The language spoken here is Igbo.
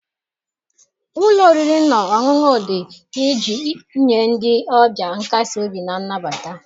Ụlọ oriri na ọṅụṅụ dị iji nye ndị ọbịa nkasi obi na nnabata